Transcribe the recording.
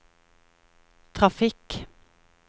trafikk